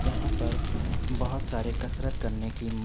यहाँ पर बोहत सारे कसरत करने की म --